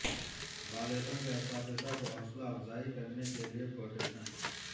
بالغوں کے اساتذہ کو حوصلہ افزائی کرنے کے لئے کوٹیشن